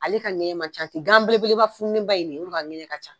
Ale ka ŋɛɲɛ ma ca ten, ganbelebeleba fununeba in dɛ o de ka ŋɛɲɛ ka ca.